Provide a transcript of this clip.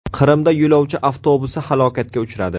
Qrimda yo‘lovchi avtobusi halokatga uchradi.